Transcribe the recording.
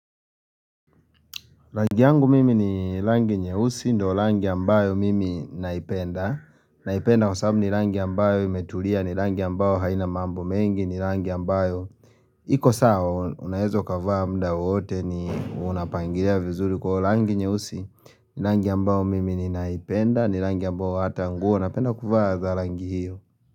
Rangi yangu mimi ni rangi nyeusi ndo rangi ambayo mimi naipenda Naipenda kwa sababu ni rangi ambayo imetulia ni rangi ambayo haina mambo mengi ni rangi ambayo iko saa unaweza ukavaa muda wowote ni unapangilia vizuri rangi nyeusi rangi ambayo mimi ninaipenda ni rangi ambayo hata nguo napenda kuvaa za rangi hiyo.